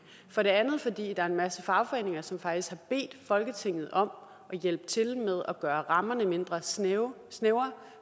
for det andet fordi der er en masse fagforeninger som faktisk har bedt folketinget om at hjælpe til med at gøre rammerne mindre snævre snævre